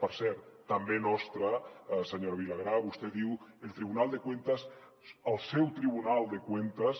per cert també nostra senyora vilagrà vostè diu el tribunal de cuentas el seu tribunal de cuentas